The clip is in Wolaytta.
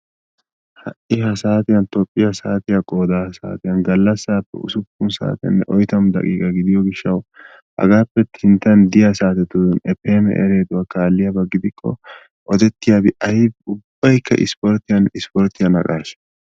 Ha'i hasaatiyan tophphiya saatiya qooda saatiyan gallassaappe usuppun saatenne oyitamu daqiiqa gidiyo gishshawu hagaappe sinttan diya saatiya ef em ereduwa kaalliyaba gidikko odettiyabi ayibi ubbayikka isporttiyanne isporttiya naqaashaa.